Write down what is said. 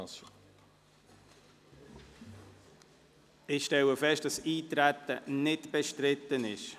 Ich stelle fest, dass das Eintreten nicht bestritten ist.